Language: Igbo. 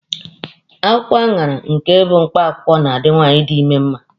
Akwụkwọ aṅara nke bụ mkpakwụwkọ na-adi nwaanyị di ime mma.